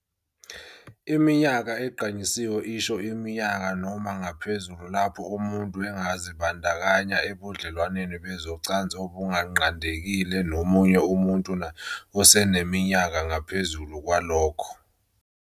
Iminyaka egqanyisiwe isho iminyaka noma ngaphezulu lapho umuntu angazibandakanya ebudlelwaneni bezocansi obunganqandekile nomunye umuntu naye oseminyakeni noma ngaphezulu kwalokho.